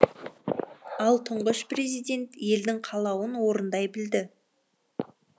ал тұңғыш президент елдің қалауын орындай білді